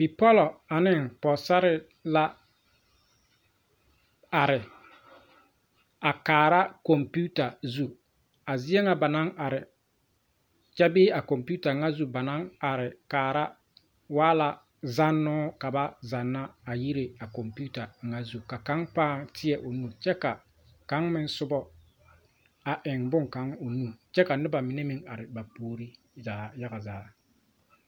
Deɛn kyɛ bee nimipɛle la ka bipɔlbilii be paki poɔ a deɛnɛ a deɛn ŋa ba naŋ deɛnɛ waa la bɔle ngmɛɛbo kaa bidɔɔlee kaŋ pãã ngmɛ a bɔle yaga zaa koo do saa kyɛ ka o taa ba na meŋ pãã kara a bɔl.